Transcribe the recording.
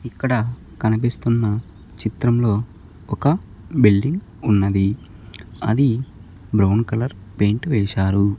ఇక్కడ కనిపిస్తున్న చిత్రంలో ఒక బిల్డింగ్ ఉన్నది అది బ్రౌన్ కలర్ పెయింట్ వేశారు.